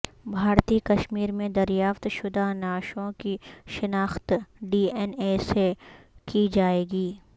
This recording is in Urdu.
بھارتی کشمیر میں دریافت شدہ نعشوں کی شناخت ڈی این اے سے کی جائے گی